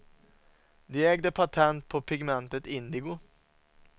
De ägde patent på pigmentet indigo.